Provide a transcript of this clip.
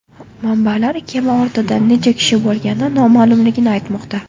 Manbalar kema bortida necha kishi bo‘lgani noma’lumligini aytmoqda.